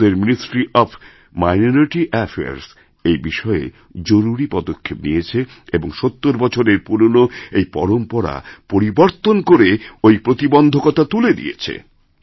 আমাদের ministry of minority affairs এই বিষয়ে জরুরি পদক্ষেপ নিয়েছে এবং ৭০ বছরের পুরনো এই পরম্পরাপরিবর্তন করে ঐ প্রতিবন্ধকতা তুলে দিয়েছে